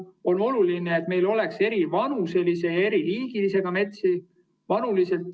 On oluline, et meil oleks eri vanuses ja eri liiki metsi.